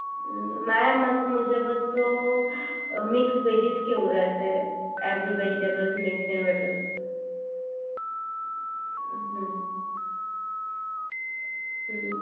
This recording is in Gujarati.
મારા મત મુજબ તો મિક્સ વેજીસ કેવું રહેશે every vegetable mix and matar hmm hmm